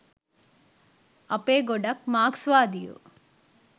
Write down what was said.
අපේ ගොඩක් මාක්ස්වාදියෝ